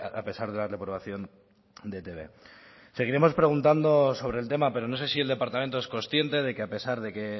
a pesar de la reprobación de etb seguiremos preguntando sobre el tema pero no sé si el departamento es consciente de que a pesar de que